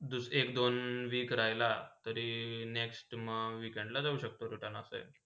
एक - दोन week राहिला तरी next म weekemd ला जाऊ शक्तो return असा आहे.